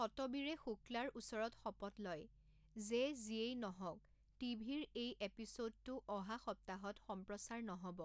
সতবীৰে শুক্লাৰ ওচৰত শপত লয় যে 'যিয়েই নহওক, টিভিৰ এই এপিছ'ডটো অহা সপ্তাহত সম্প্ৰচাৰ নহ'ব।